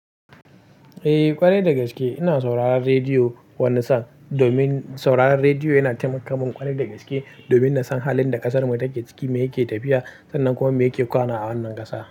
Eh, ƙwarai da gaske ina sauraron rediyo wanni san, domin sauraron rediyo yana taimakawa ƙwarai da gaske domin na san halin da ƙasarmu take ciki, me yake tafiya sannan kuma me yake kwana a wannan ƙasa.